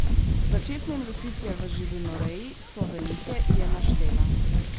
Začetne investicije v živinoreji so velike, je naštela.